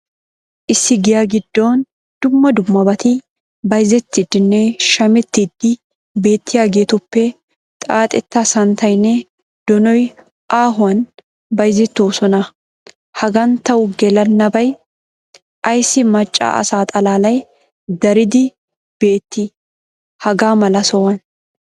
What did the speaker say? Issi giya gidoon dumma dummabaati bayzzettidinne shamettidi bettiyageetuppekka xaaxetta santtaynne donoy aahuwan bayzzettoosonna. Hagan tawu gellanabay ayssi macca asa xalaalay daridi betti hagaa mala sohuwaan?